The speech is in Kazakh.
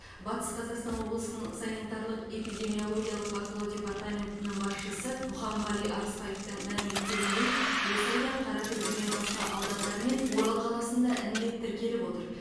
батыс қазақстан облысы санитарлық эпидемиологиялық бақылау департаментінің басшысы мұхамғали арыспаевтың мәлім еткеніндей осы айда қаратөбеден басқа аудандар мен орал қаласында індет тіркеліп отыр